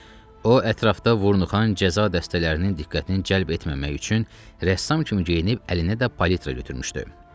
O ətrafda Vurnuxan cəza dəstələrinin diqqətini cəlb etməmək üçün rəssam kimi geyinib əlinə də palitra götürmüşdü.